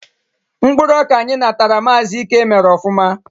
Mkpụrụ ọka anyị natara Maazi Íke mèrè ofụma